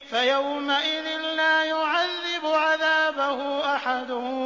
فَيَوْمَئِذٍ لَّا يُعَذِّبُ عَذَابَهُ أَحَدٌ